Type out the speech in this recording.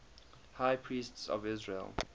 high priests of israel